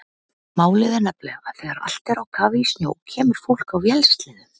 Málið er nefnilega að þegar allt er á kafi í snjó kemur fólk á vélsleðum.